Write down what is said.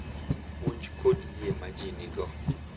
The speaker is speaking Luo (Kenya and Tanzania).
puonj kod yie ma ji nigo.